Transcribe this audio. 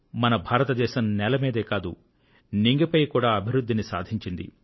మన భారతదేశం నేల మీదే కాదు నింగిపై కూడా అభివృద్ధిని సాధించింది